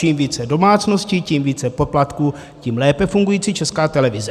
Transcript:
Čím více domácností, tím více poplatků, tím lépe fungující Česká televize.